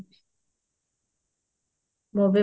ମୁଁ ବି